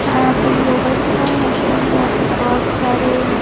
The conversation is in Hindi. यहाँ पे योगा चला। यहाँ पे यहाँ पे बोहोत सारे --